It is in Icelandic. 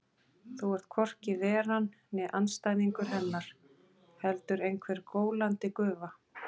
Þú ert hvorki Veran né andstæðingur Hennar, heldur einhver gólandi gufa.